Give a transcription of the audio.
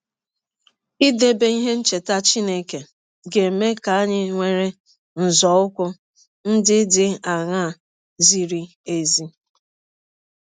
Idebe ihe ncheta Chineke ga - eme ka anyị were nzọụkwụ ndị dị aṅaa zịrị ezi?